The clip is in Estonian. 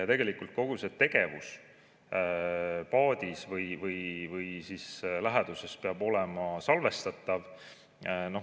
Tegelikult kogu see tegevus paadis või läheduses peab olema salvestatav.